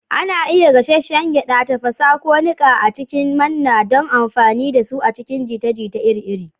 Ana iya gasasshen gyada, tafasa, ko niƙa a cikin manna don amfani da su a cikin jita-jita iri-iri.